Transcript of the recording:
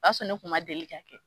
O b'a sɔrɔ ne kuma deli ka kɛ.